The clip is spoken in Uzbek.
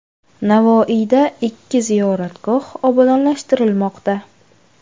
Navoiyda ikki ziyoratgoh obodonlashtirilmoqda.